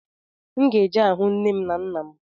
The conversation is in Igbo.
M ga-eje ahụ nne m na nna m